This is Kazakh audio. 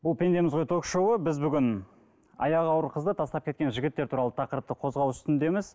бұл пендеміз ғой ток шоуы біз бүгін аяғы ауыр қызды тастап кеткен жігіттер туралы тақырыпты қозғау үстіндеміз